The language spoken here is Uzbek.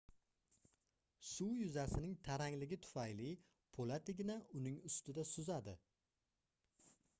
suv yuzasining tarangligi tufayli poʻlat igna uning ustida suzadi